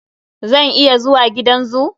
Zan iya zuwa gidan zoo?